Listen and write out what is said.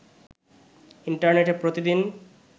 ইন্টারনেটে প্রতিদিন